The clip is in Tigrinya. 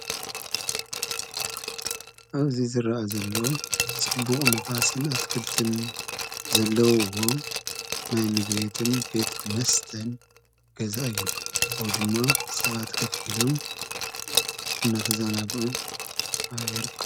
እዙይ ዝረአ ዘለዎ ስቡቕ ንፋስን ኣትክልትን ዘለዉዎ ናይ ምግቤትን ቤት መስተን ገዛ እዩ ።ወይድማ ሰቓት ከፊሎም እናተዛናግዑ ይርኸቡ።